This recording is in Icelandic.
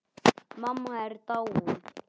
Mamma er dáin.